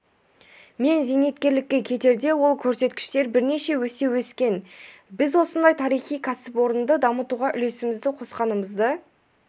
мен зейнеткерлікке кетерде ол көрсеткіштер бірнеше есе өскен біз осындай тарихи кәсіпорынды дамытуға үлесімізді қосқанымызды